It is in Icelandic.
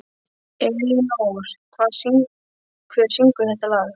Elínór, hver syngur þetta lag?